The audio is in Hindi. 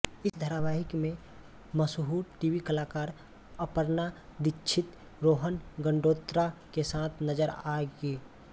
इस धारावाहिक में मशहूर टीवी कलाकार अपर्णा दीक्षित रोहन गंडोत्रा के साथ नजर आएंगी